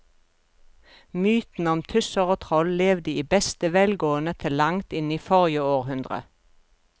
Mytene om tusser og troll levde i beste velgående til langt inn i forrige århundre.